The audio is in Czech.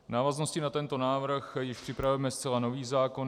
V návaznosti na tento návrh již připravujeme zcela nový zákon.